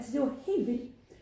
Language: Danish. Altså det var helt vildt